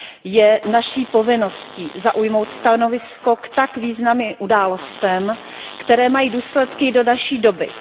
Je naší povinností zaujmout stanovisko k tak významným událostem, které mají důsledky do naší doby.